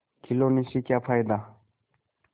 खिलौने से क्या फ़ायदा